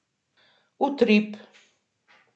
Utrip.